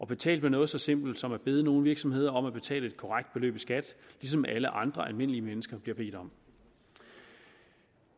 betalt med noget så simpelt som at bede nogle virksomheder om at betale et korrekt beløb i skat ligesom alle andre almindelige mennesker bliver bedt om